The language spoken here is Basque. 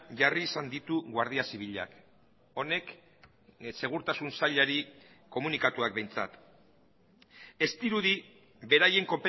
jarri izan ditu guardia zibilak honek segurtasun sailari komunikatuak behintzat ez dirudi beraien